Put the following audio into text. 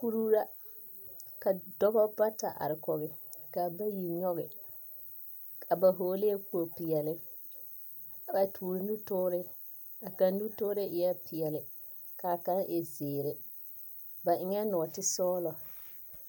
Kuruu la, ka dɔba bata are kɔge, kaa bayi nyɔge, ka, ba hɔɔglɛɛ kpog-peɛle, a toore nutoore, a kaŋ nutoore eɛ peɛle, kaa kaŋ e zeere, ba eŋɛɛ nɔɔtesɔglɔ.